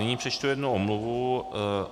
Nyní přečtu jednu omluvu.